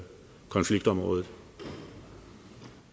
fundet ud